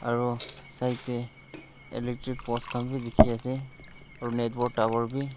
aru side tae electric post khan vi dekhi ase aru network tower vi.